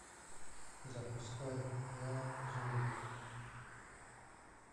запускай я зомби